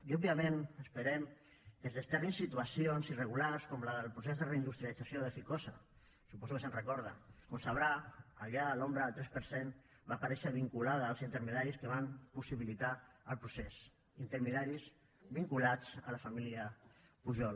i òbviament esperem que es desterrin situacions irregulars com la del procés de reindustrialització de ficosa suposo que se’n recorda com sabrà allà l’ombra del tres per cent va aparèixer vinculada als intermediaris que van possibilitar el procés intermediaris vinculats a la família pujol